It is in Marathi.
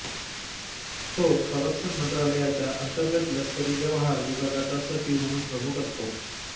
तो संरक्षण मंत्रालयाच्या अंतर्गत लष्करी व्यवहार विभागाचा सचिव म्हणून प्रमुख असतो